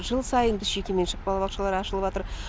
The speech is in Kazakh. жыл сайын жекеменшік балабақшалар ашылыватыр